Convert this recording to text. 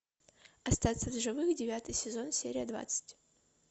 остаться в живых девятый сезон серия двадцать